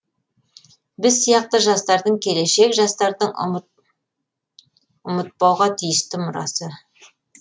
біз сияқты жастардың келешек жастардың ұмытпауға тиісті мұрасы